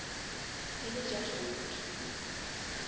e le tša gauta